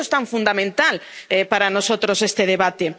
Por eso es tan fundamental para nosotros este debate.